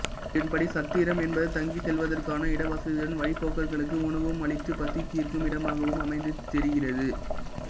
இதன்படி சத்திரம் என்பது தங்கிச் செல்வதற்கான இட வசதியுடன் வழிப்போக்கர்களுக்கு உணவும் அளித்துப் பசி தீர்க்கும் இடமாகவும் அமைந்தது தெரிகிறது